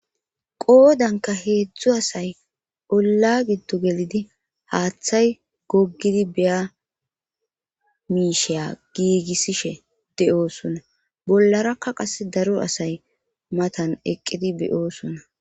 Qoodanka heedzdzu asay olla giddo gelidi haaththay gogidi beya miisheya giigissishe de'oosona bollarakka qas daro asay matan eqqidi beyoosona